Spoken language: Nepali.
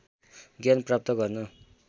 ज्ञान प्राप्त गर्न